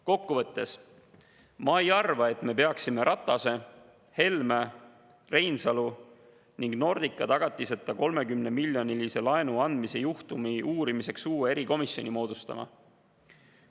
Kokku võttes: ma ei arva, et me peaksime Ratase, Helme, Reinsalu ning Nordica tagatiseta 30-miljonilise laenu andmise juhtumi uurimiseks uue erikomisjoni moodustama.